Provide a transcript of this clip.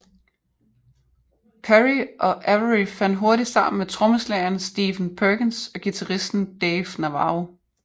Perry og Avery fandt hurtigt sammen med trommeslageren Stephen Perkins og guitaristen Dave Navarro